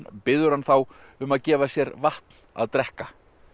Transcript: biður hann þá um að gefa sér vatn að drekka